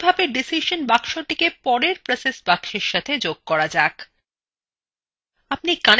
একইভাবে ডিসিশন বাক্সটিকে পরের process box সাথে যোগ করা যাক